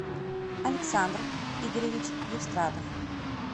александр игоревич евстратов